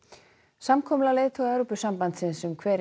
samkomulag leiðtoga Evrópusambandsins um hver